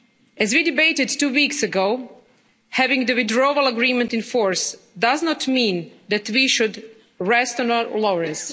As we debated two weeks ago, having the Withdrawal Agreement in force does not mean that we should rest on our laurels.